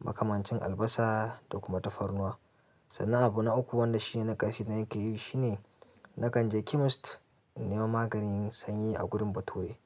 Makamancin albasa da kuma tafarnuwa. Sannan abu na uku wanda shi ne na ƙarshe da nake yi shi ne na kan je chemist in nema maganin sanyi a gurin bature.